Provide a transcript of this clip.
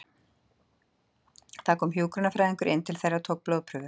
Það kom hjúkrunarfræðingur inn til þeirra og tók blóðprufur.